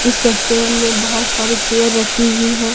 इस रेस्टोरेंट मे बहुत सारी चेयर रखी हुई है।